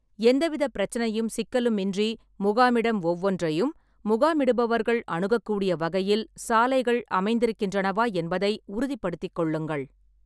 எந்தவிதப் பிரச்சனையும் சிக்கலுமின்றி முகாமிடம் ஒவ்வொன்றையும் முகாமிடுபவர்கள் அணுகக்கூடிய வகையில் சாலைகள் அமைந்திருக்கின்றனவா என்பதை உறுதிப்படுத்திக் கொள்ளுங்கள்.